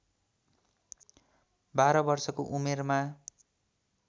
१२ वर्षको उमेरमा